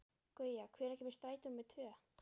Gauja, hvenær kemur strætó númer tvö?